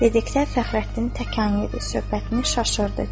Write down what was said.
Dedikdə Fəxrəddin təkan yedi, söhbətini çaşırdı.